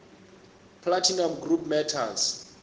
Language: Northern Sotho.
platinum group metals